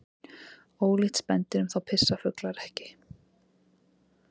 Ólíkt spendýrum þá pissa fuglar ekki.